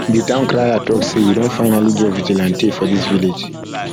the town crier talk say we don finally get vigilante for dis village